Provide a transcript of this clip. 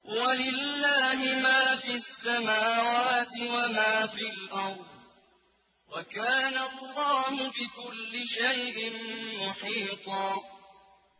وَلِلَّهِ مَا فِي السَّمَاوَاتِ وَمَا فِي الْأَرْضِ ۚ وَكَانَ اللَّهُ بِكُلِّ شَيْءٍ مُّحِيطًا